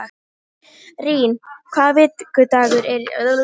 Rín, hvaða vikudagur er í dag?